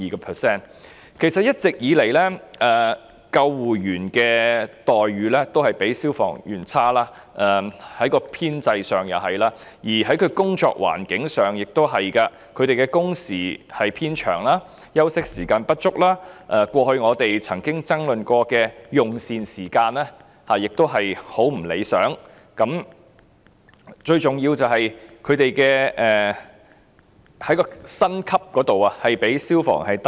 其實一直以來，救護人員的待遇都較消防人員差，編制如是，工作環境亦如是，他們的工時偏長、休息時間不足，過去我們曾經爭論的用膳時間亦很不理想，最重要的是，他們的薪級較消防人員低。